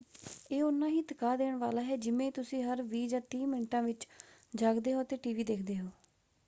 ਇਹ ਉਨਾਂ ਹੀ ਥਕਾ ਦੇਣ ਵਾਲਾ ਹੈ ਜਿਵੇਂ ਤੁਸੀਂ ਹਰ ਵੀਹ ਜਾਂ ਤੀਹ ਮਿੰਟਾਂ ਵਿੱਚ ਜਾਗਦੇ ਹੋ ਅਤੇ ਟੀਵੀ ਦੇਖਦੇ ਹੋ।